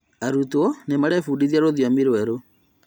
Arutwo nĩmarebundithia rũthiomi rwerũ